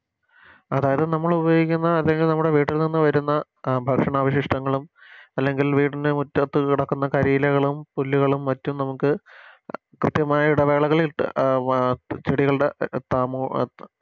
അതായത് നമ്മളുപയോഗിക്കുന്ന അല്ലെങ്കി നമ്മുടെ വീട്ടിൽ നിന്നും വരുന്ന ആ അഹ് ഭക്ഷണാവശിഷ്ടങ്ങളും അല്ലെങ്കിൽ വീട്ടിന് മുറ്റത്ത് കിടക്കുന്ന കരിയിലകളും പുല്ലുകളും മറ്റും നമുക്ക് കൃത്യമായ ഇടവേളകളിൽ ഇട്ട് അഹ് ചെടികളുടെ ത്താമോ